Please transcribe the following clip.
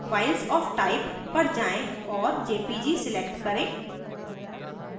files of type पर जाएँ और jpg select करें